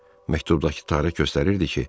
Məktubdakı tarix göstərirdi ki,